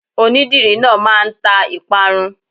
Onídìrí náà máa ń ta ìparun.